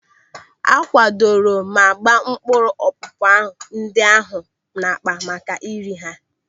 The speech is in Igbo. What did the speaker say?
A kwadoro ma gbaa mkpụrụ ọpụpa ndị ahụ n'akpa maka ire ha.